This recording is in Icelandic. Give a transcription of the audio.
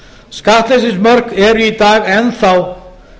skattleysismörk eru í dag enn þá